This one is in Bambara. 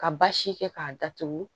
Ka basi kɛ k'a datugu